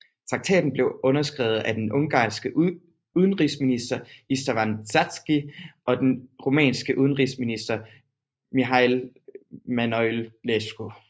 Traktaten blev underskrevet af den ungarske udenrigsminister István Csáky og den rumænske udenrigsminister Mihail Manoilescu